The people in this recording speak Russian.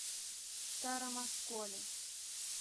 старом осколе